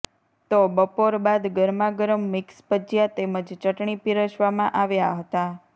તો બપોર બાદ ગરમા ગરમ મિક્સ ભજીયા તેમજ ચટણી પીરસવામાં આવ્યા હતા